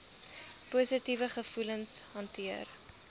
positiewe gevoelens hanteer